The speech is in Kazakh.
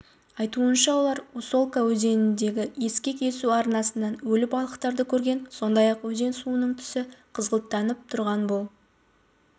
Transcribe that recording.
айтуынша олар усолка өзеніндегі ескек есу арнасынан өлі балықтарды көрген сондай-ақ өзен суының түсі қызғылттанып тұрған бұл